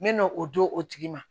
N mɛna o d'o tigi ma